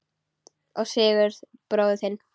Og Sigurð bróður þinn!